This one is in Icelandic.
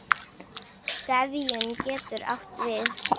Gefjun getur átt við